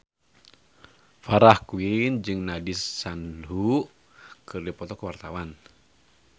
Farah Quinn jeung Nandish Sandhu keur dipoto ku wartawan